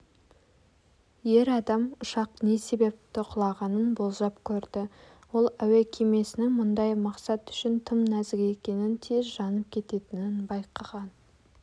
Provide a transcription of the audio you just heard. ер адам ұшақ не себепті құлағанын болжап көрді ол әуе кемесінің бұндай мақсат үшін тым нәзік екенін тез жанып кететінін байқаған